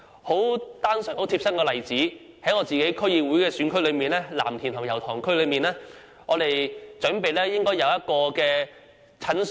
很貼身的例子是在我的區議會選區藍田和油塘區內，我們要求興建一間診所。